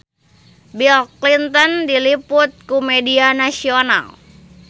Bill Clinton diliput ku media nasional